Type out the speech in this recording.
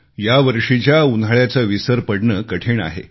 या वर्षीच्या उन्हाळ्याचा विसर पडणे कठीण आहे